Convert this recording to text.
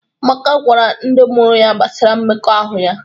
Amaka gwara ndị mụrụ ya gbasara mmekọahụ ya